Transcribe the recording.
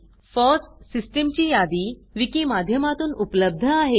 फॉस सिस्टम ची यादी विकी माध्यमातून उपलब्ध आहे